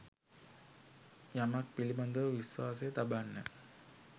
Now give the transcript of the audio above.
යමක් පිළිබඳව විශ්වාසය තබන්න.